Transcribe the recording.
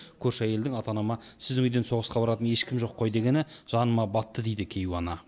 көрші әйелдің ата анама сіздің үйден соғысқа баратын ешкім жоқ қой дегені жаныма батты дейді кейуана